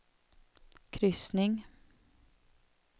kryssning